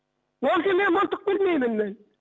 мен мылтық білмеймін мен